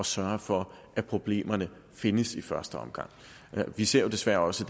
sørge for at problemerne findes i første omgang vi ser desværre også